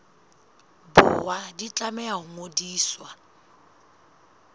borwa di tlameha ho ngodiswa